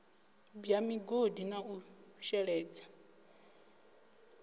bwa migodi na u sheledza